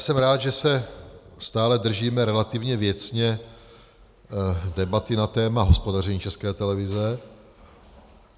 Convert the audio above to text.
Jsem rád, že se stále držíme relativně věcně debaty na téma hospodaření České televize.